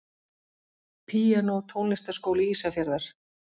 Píanó Tónlistarskóli Ísafjarðar.